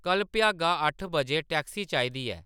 कल्ल भ्यागा अट्ठ बजे टैक्सी चाहिदी ऐ